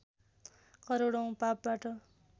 करोडौँ पापबाट